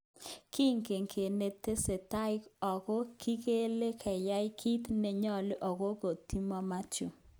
Kingen kinetesetai .Oko kikilege keyai kit nenyolu okot kotkomoyoe Mathew.